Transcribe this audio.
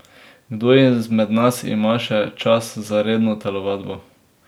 Kdo izmed nas ima še čas za redno telovadbo?